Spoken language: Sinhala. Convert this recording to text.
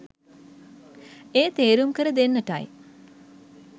එය තේරුම් කර දෙන්නටයි